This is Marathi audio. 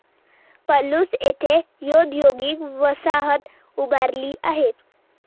पलूस येथे औदयोगिक वसाहत उभारली आहे.